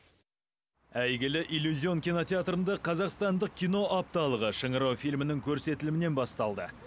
әйгілі иллюзион кинотеатрында қазақстандық кино апталығы шыңырау фильмінің көрсетілімінен басталды